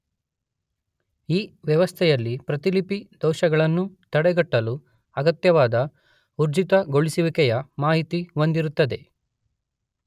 ಈ ವ್ಯವಸ್ಥೆಯಲ್ಲಿ ಪ್ರತಿಲಿಪಿ ದೋಷಗಳನ್ನು ತಡೆಗಟ್ಟಲು ಅಗತ್ಯವಾದ ಊರ್ಜಿತಗೊಳಿಸುವಿಕೆಯ ಮಾಹಿತಿ ಹೊಂದಿರುತ್ತದೆ.